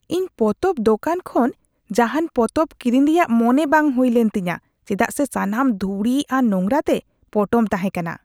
ᱤᱧ ᱯᱚᱛᱚᱵ ᱫᱳᱠᱟᱱ ᱠᱷᱚᱱ ᱡᱟᱦᱟᱱ ᱯᱚᱛᱚᱵ ᱠᱤᱨᱤᱧ ᱨᱮᱭᱟᱜ ᱢᱚᱱᱮ ᱵᱟᱝ ᱦᱩᱭ ᱞᱮᱱ ᱛᱤᱧᱟᱹ ᱪᱮᱫᱟᱜ ᱥᱮ ᱥᱟᱱᱟᱢ ᱫᱷᱩᱲᱤ ᱟᱨ ᱱᱳᱝᱨᱟ ᱛᱮ ᱯᱚᱴᱚᱢ ᱛᱟᱦᱮᱸᱠᱟᱱᱟ ᱾